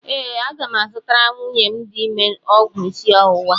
Ee, aga m azụtara nwunye m dị ime ọgwụ isi ọwụwa.